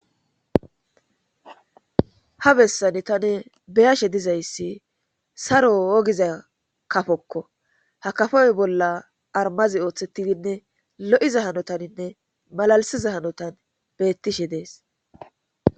ha bessani tane beyashe dizayssi saro ogiza kafokko hakafoy bolla armazi ooththettidinne lo7iza hanotaninne malalisiza hanotan beettishe dees